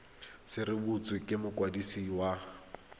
se rebotswe ke mokwadisi wa